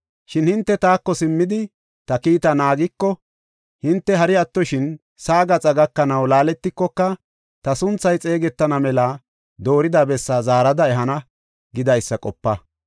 Shin hinte taako simmidi, ta kiita naagiko, hinte hari attoshin sa7aa gaxaa gakanaw laaletikoka, ta sunthay xeegetana mela doorida bessaa zaarada ehana’ gidaysa qopa.